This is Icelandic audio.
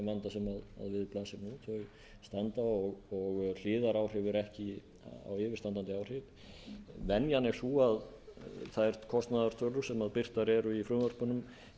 standa og hliðaráhrif eru ekki á yfirstandandi áhrif venjan er sú að þær kostnaðartölur sem birtar eru í frumvörpunum